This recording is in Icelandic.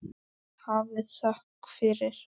Hafið þökk fyrir.